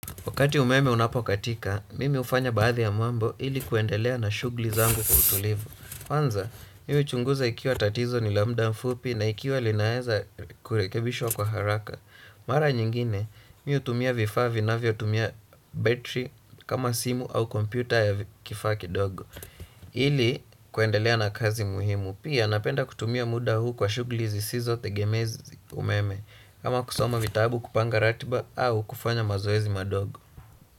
Wakati umeme unapokatika, mimi hufanya baadhi ya mambo ili kuendelea na shughuli zangu kwa utulivu. Kwanza, mimi huchunguza ikiwa tatizo ni la muda mfupi na ikiwa linaeza kurekebishwa kwa haraka. Mara nyingine, mi hutumia vifaa vinavyotumia battery kama simu au computer ya kifaa kidogo. Ili kuendelea na kazi muhimu pia napenda kutumia muda huu kwa shughuli zisizotegemezi umeme. Kama kusoma vitabu kupanga ratiba au kufanya mazoezi madogo.